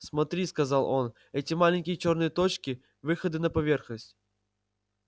смотри сказал он эти маленькие чёрные точки выходы на поверхность